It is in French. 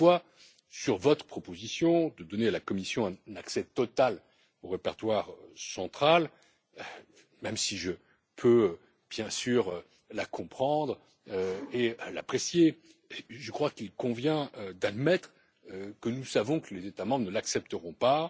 Toutefois, sur votre proposition de donner à la Commission un accès total au répertoire central même si je peux bien sûr la comprendre et l'apprécier je crois qu'il convient d'admettre que nous savons que les États membres ne l'accepteront pas.